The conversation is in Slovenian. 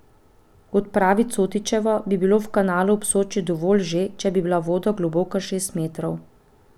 Kot pravi Cotičeva, bi bilo v kanalu ob Soči dovolj že, če bi bila voda globoka šest metrov.